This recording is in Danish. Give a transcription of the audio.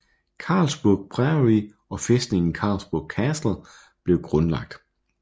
Carisbrooke Priory og fæstningen Carisbrooke Castle blev grundlagt